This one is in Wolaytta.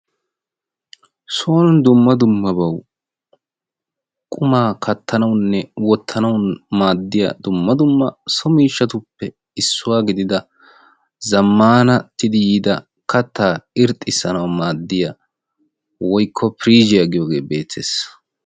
Soon dumma dummaba qumaa kattanawunne wottanaw maaddiya zammatidi yiida kattaa irxxisana maaddiya woyko firizhzhiya giyooge beettees.